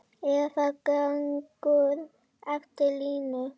Eða gengur eftir línu.